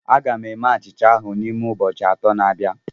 Aga m eme achịcha ahụ n'ime ụbọchị atọ na abịa